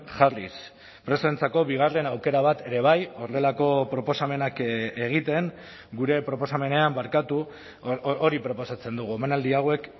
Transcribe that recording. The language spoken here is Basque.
jarriz presoentzako bigarren aukera bat ere bai horrelako proposamenak egiten gure proposamenean barkatu hori proposatzen dugu omanaldi hauek